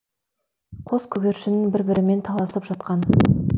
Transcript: қос көгершін бір бірімен таласып жатқан